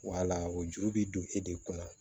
Wala o juru bɛ don e de kunna